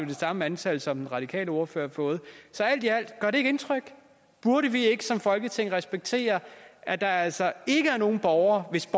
det samme antal som den radikale ordfører har fået så alt i alt gør ikke indtryk burde vi ikke som folketing respektere at der altså ikke er nogen borgere hvis